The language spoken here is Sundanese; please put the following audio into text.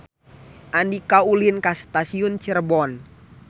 Andika ulin ka Stasiun Cirebon